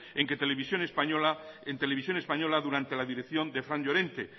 en que televisión española en televisión española durante la dirección de fran llorente